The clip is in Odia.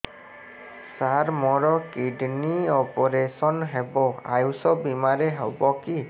ସାର ମୋର କିଡ଼ନୀ ଅପେରସନ ହେବ ଆୟୁଷ ବିମାରେ ହେବ କି